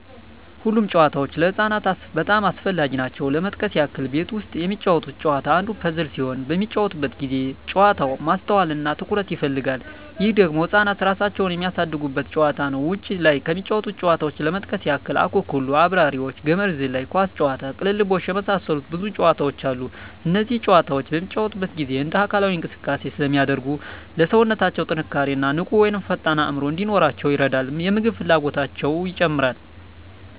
ሁሉም ጨዋታዎች ለህፃናት በጣም አስፈላጊ ናቸው ለመጥቀስ ያክል ቤት ውስጥ የሚጫወቱት ጨዋታ አንዱ ፐዝል ሲሆን በሚጫወቱበት ጊዜ ጨዋታው ማስተዋል እና ትኩረት ይፈልጋል ይህ ደግሞ ህፃናት እራሳቸውን የሚያሳድጉበት ጨዋታ ነው ውጭ ላይ ከሚጫወቱት ጨዋታዎች ለመጥቀስ ያክል አኩኩሉ....፣አብራሪዎች፣ ገመድ ዝላይ፣ ኳስ ጨዋታ፣ ቅልብልቦሽ የመሳሰሉት ብዙ ጨዋታዎች አሉ እነዚህ ጨዋታዎች በሚጫወቱበት ጊዜ እንደ አካላዊ እንቅስቃሴ ስለሚያደርጉ ለሠውነታው ጥንካሬ እና ንቁ ወይም ፈጣን አዕምሮ እንዲኖራቸው ይረዳል የምግብ ፍላጎታቸው ይጨምራል